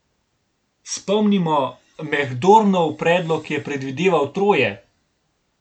Spomnimo, Mehdornov predlog je predvideval troje.